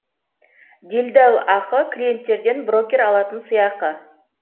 делдалақы клиенттерден брокер алатын сыйақы